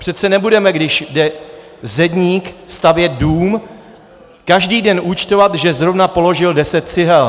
Přece nebudeme, když jde zedník stavět dům, každý den účtovat, že zrovna položil deset cihel!